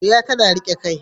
Wuya tana riƙe kai.